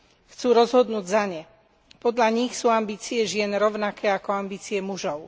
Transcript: Chcú rozhodnúť za ne. Podľa nich sú ambície žien rovnaké ako ambície mužov.